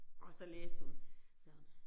Og så læste hun sagde hun